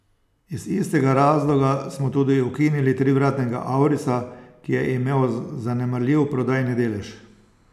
Iz istega razloga smo tudi ukinili trivratnega aurisa, ki je imel zanemarljiv prodajni delež.